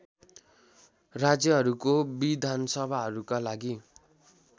राज्यहरूको विधानसभाहरूका लागि